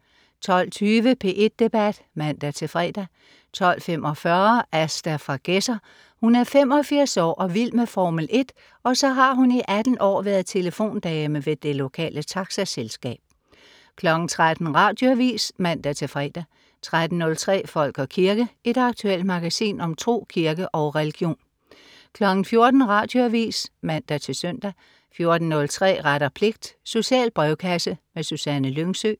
12.20 P1 Debat (man-fre) 12.45 Asta fra Gedser. Hun er 85 år og vild med Formel 1, og så har hun i 18 år været telefondame ved det lokale taxaselskab 13.00 Radioavis (man-fre) 13.03 Folk og kirke. Et aktuelt magasin om tro, kirke og religion 14.00 Radioavis (man-søn) 14.03 Ret og pligt. Social brevkasse. Susanne Lyngsø